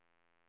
undersökning